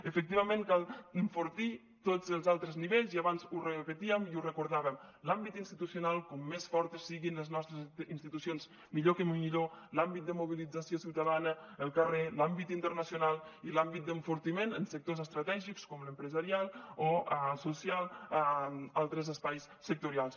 efectivament cal enfortir tots els altres nivells i abans ho repetíem i ho recordàvem l’àmbit institucional com més fortes siguin les nostres institucions millor que millor l’àmbit de mobilització ciutadana el carrer l’àmbit internacional i l’àmbit d’enfortiment en sectors estratègics com l’empresarial o el social altres espais sectorials